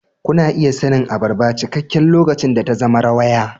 Kuna iya sanin abarba cikakke lokacin da ta zama rawaya.